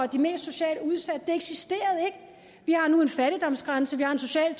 de mest socialt udsatte eksisterede vi har nu en fattigdomsgrænse vi har en social